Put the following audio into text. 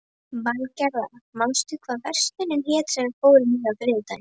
Valgerða, manstu hvað verslunin hét sem við fórum í á þriðjudaginn?